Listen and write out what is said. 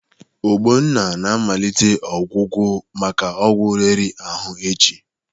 Ogbonna na-amalite ọgwụgwọ maka ọgwụ riri ahụ echi.